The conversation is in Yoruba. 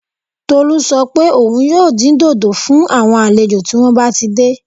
Tolú sọ pé òun yóò dín dòdò fún àwọn àlejò tí wọ́n bá ti dé